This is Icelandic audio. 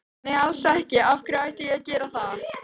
Nei alls ekki, af hverju ætti ég að gera það?